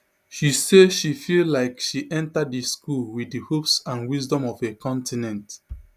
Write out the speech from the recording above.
she say she feel like she enta di school wit di hopes and wisdom of a continent